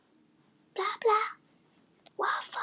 Málið er viðkvæmt innan Vinstri grænna